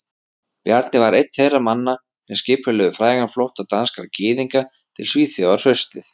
Bjarni var einn þeirra manna sem skipulögðu frægan flótta danskra gyðinga til Svíþjóðar haustið